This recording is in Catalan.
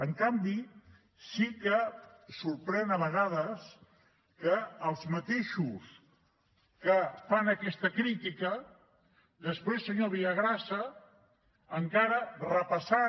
en canvi sí que sorprèn a vegades que els mateixos que fan aquesta crítica després senyor villagrasa repassant